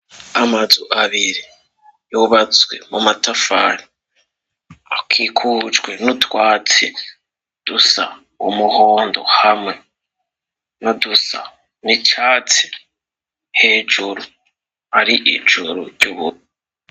Amazu abiri yobazswe mu matafani akikujwe n'utwatsi dusa umuhondo hamwe no dusa nicatsi hejuru ari ijuru ry'ububi.